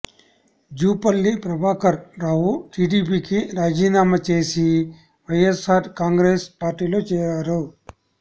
జూపల్లి ప్రభాకర్ రావు టీడీపీకి రాజీనామా చేసి వైఎస్సార్ కాంగ్రెసు పార్టీలో చేరారు